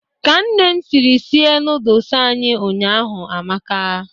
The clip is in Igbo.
Ka Nne m siri sie nọọdụs anyị ụnyaahụ amaka.